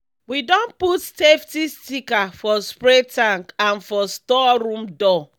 we don put safety sticker for spray tank and for store room door.